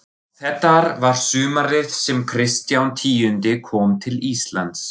Og þetta var sumarið sem Kristján tíundi kom til Íslands.